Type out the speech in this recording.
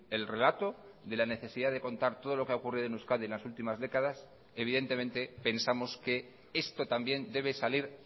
el relato de la necesidad de contar todo lo que ha ocurrido en euskadi en las últimas décadas evidentemente pensamos que esto también debe salir